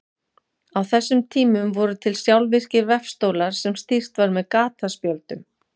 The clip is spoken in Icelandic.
Á þessum tímum voru til sjálfvirkir vefstólar sem stýrt var með gataspjöldum.